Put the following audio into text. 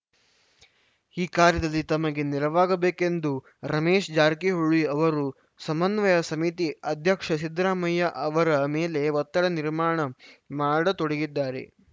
ಈ ಕಾರ್ಯದಲ್ಲಿ ತಮಗೆ ನೆರವಾಗಬೇಕೆಂದು ರಮೇಶ್‌ ಜಾರಕಿಹೊಳಿ ಅವರು ಸಮನ್ವಯ ಸಮಿತಿ ಅಧ್ಯಕ್ಷ ಸಿದ್ದರಾಮಯ್ಯ ಅವರ ಮೇಲೆ ಒತ್ತಡ ನಿರ್ಮಾಣ ಮಾಡತೊಡಗಿದ್ದಾರೆ